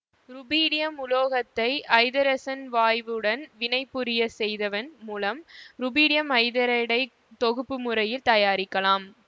rubidium உலோகத்தை ஐதரசன் வாயுவுடன் வினைபுரிய செய்தவன் மூலம் ருபீடியம் ஐதரைடை தொகுப்பு முறையில் தயாரிக்கலாம்